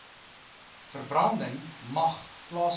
verbranding mag plaasvind